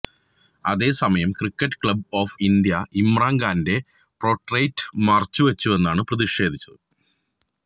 അതേസമയം Cricket Club of India Imran ഖാന്റെ portrait മറച്ചുവെച്ചാണ് പ്രതിഷേധിച്ചത്